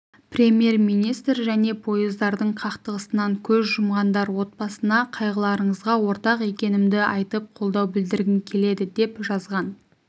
премьер-министр және поездардың қақтығысынан көз жұмғандар отбасына қайғыларыңызға ортақ екенімді айтып қолдау білдіргім келеді деп жазған